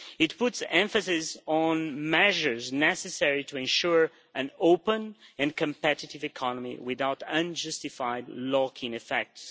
It puts emphasis on measures necessary to ensure an open and competitive economy without unjustified lock in effects.